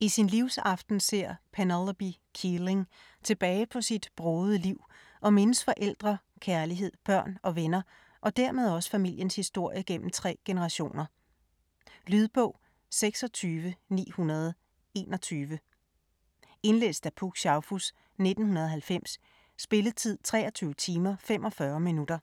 I sin livsaften ser Penelope Keeling tilbage på sit brogede liv og mindes forældre, kærlighed, børn og venner og dermed også familiens historie gennem tre generationer. Lydbog 26921 Indlæst af Puk Schaufuss, 1990. Spilletid: 23 timer, 45 minutter.